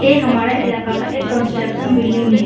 ए हमारा इलाका का एक कंस्ट्रक्शन बिल्डिंग है।